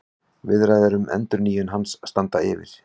Viðræður um endurnýjun hans standa yfir